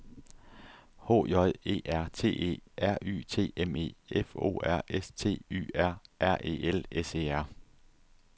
H J E R T E R Y T M E F O R S T Y R R E L S E R